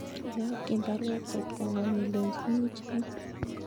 Iyokyin baruet cheptongung ilenchini ichome